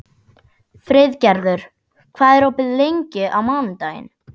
Friðgerður, hvað er opið lengi á mánudaginn?